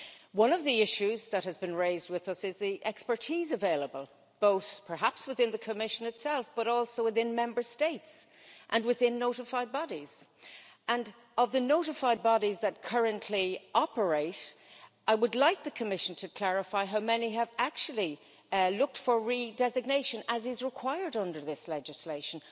One of the issues that has been raised with us is the expertise available both perhaps within the Commission itself, but also within Member States and within notified bodies, and of the notified bodies that currently operate. I would like the Commission to clarify how many have actually looked for re designation, as is required under this legislation.